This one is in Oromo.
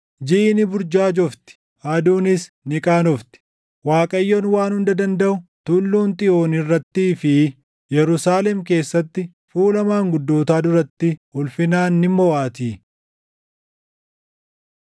Jiʼi ni burjaajofti; aduunis ni qaanofti; Waaqayyoon Waan Hunda Dandaʼu, Tulluun Xiyoon irrattii fi Yerusaalem keessatti fuula maanguddootaa duratti ulfinaan ni moʼaatii.